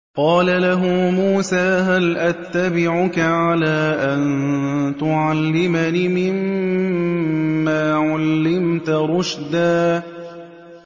قَالَ لَهُ مُوسَىٰ هَلْ أَتَّبِعُكَ عَلَىٰ أَن تُعَلِّمَنِ مِمَّا عُلِّمْتَ رُشْدًا